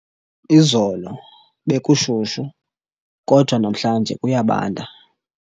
Izolo bekushushu kodwa namhlanje kuyabanda.